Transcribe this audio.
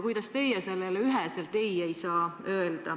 Kuidas te ei saa seda üheselt keelata?